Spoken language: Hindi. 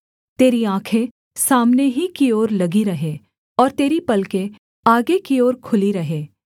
तेरी आँखें सामने ही की ओर लगी रहें और तेरी पलकें आगे की ओर खुली रहें